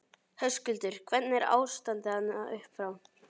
Höskuldur: Hvernig er ástandið þarna upp frá?